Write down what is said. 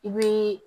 I bi